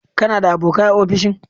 Kana da abokai a ofishin?